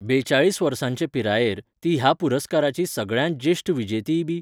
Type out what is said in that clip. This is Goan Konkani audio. बेचाळीस वर्सांचे पिरायेर, ती ह्या पुरस्काराची सगळ्यांत ज्येश्ठ विजेतीयबी.